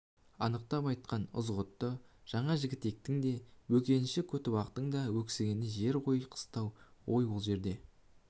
анықтап айтқан ызғұтты ғана жігітектің де бөкенші көтібақтың да өксігі жер ғой қыстау ғой сол жөнде